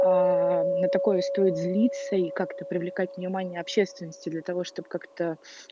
на такое стоит злиться и как-то привлекать внимание общественности для того чтобы как-то